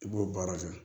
I b'o baara kɛ